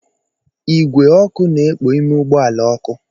Igwe ọkụ na-ekpo ime ụgbọ ala ọkụ